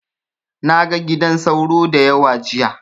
Na ga gidan sauro da yawa jiya.